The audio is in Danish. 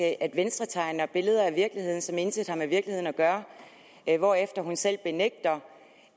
at venstre tegner billeder af virkeligheden som intet har med virkeligheden at gøre hvorefter hun selv benægter